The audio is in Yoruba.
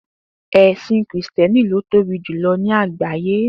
È̩sìn Krìsté̩nì ni ó tóbi jùlo̩ ní àgbáyé